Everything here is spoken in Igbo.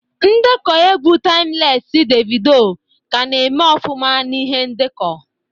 Ndekọ egwu taimlesi Devido ka na-eme ọfụma na ihe ndekọ